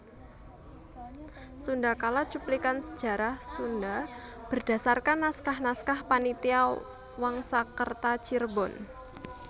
Sundakala cuplikan sejarah Sunda berdasarkan naskah naskah Panitia Wangsakerta Cirebon